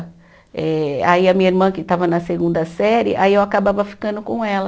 Eh, aí a minha irmã, que estava na segunda série, aí eu acabava ficando com ela.